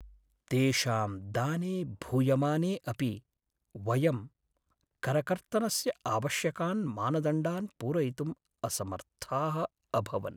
तेषां दाने भूयमाने अपि, वयं करकर्तनस्य आवश्यकान् मानदण्डान् पूरयितुं असमर्थाः अभवन्।